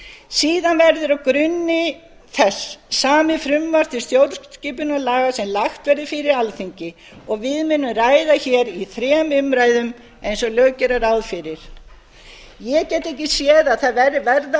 saman verður á grunni þess samið frumvarp til stjórnskipunarlaga sem lagt verður fyrir alþingi og við munum ræða í þrem umræðum eins og lög gera ráð fyrir ég get ekki séð að